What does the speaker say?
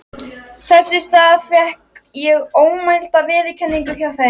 Þess í stað fékk ég ómælda viðurkenningu hjá þeim.